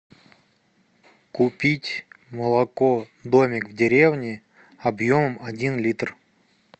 купить молоко домик в деревне объемом один литр